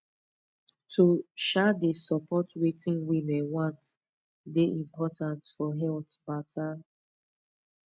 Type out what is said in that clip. to um dey support wetin women want dey important for health matta